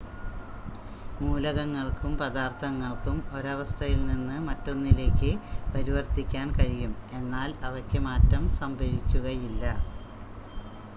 മൂലകങ്ങൾക്കും പദാർത്ഥങ്ങൾക്കും ഒരവസ്ഥയിൽനിന്ന് മറ്റ് 1 ലേയ്ക്ക് പരിവർത്തിക്കാൻ കഴിയും എന്നാൽ അവയ്ക്ക് മാറ്റം സംഭവിക്കുകയില്ല